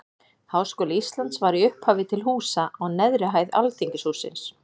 Háskóli Íslands var í upphafi til húsa á neðri hæð Alþingishússins.